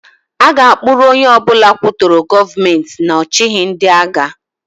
A ga-akpụrụ onye ọbụla kwutọrọ Gọọmentị n' ọchịhị ndịagha.